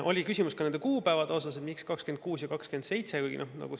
Oli küsimus ka kuupäevade kohta, et miks just 2026. ja 2027. aasta.